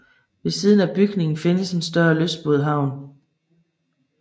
Ved siden af bygningen findes et større lystbådehavn